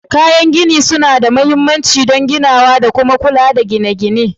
Kayan gine-gine suna da mahimmanci don ginawa da kuma kula da gine-gine